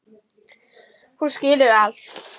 Hún skilur allt.